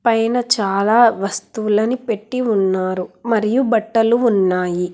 పైన చాలా వస్తువులని పెట్టీ ఉన్నారు మరియు బట్టలు ఉన్నాయి.